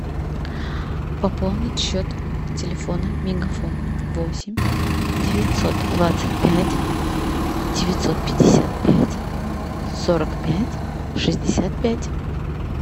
пополнить счет телефона мегафон восемь девятьсот двадцать пять девятьсот пятьдесят пять сорок пять шестьдесят пять